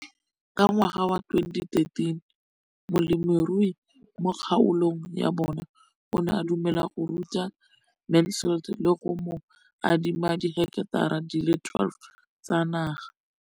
Ka ngwaga wa 2013, molemirui mo kgaolong ya bona o ne a dumela go ruta Mansfield le go mo adima di heketara di le 12 tsa naga.